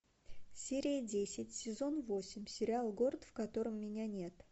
серия десять сезон восемь сериал город в котором меня нет